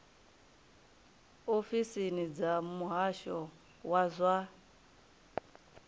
ofisini dza muhasho wa zwa